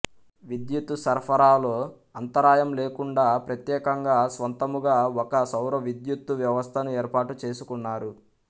విద్యుత్తు సరఫరాలో అంతరాయం లేకుండా ప్రత్యేకంగా స్వంతముగా ఒక సౌరవిద్యుత్తు వ్యవస్థను ఏర్పాటుచేసుకున్నారు